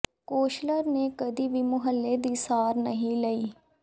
councillor ਨੇ ਕਦੇ ਵੀ ਮੁਹੱਲੇ ਦੀ ਸਾਰ ਨਹੀਂ ਲਈ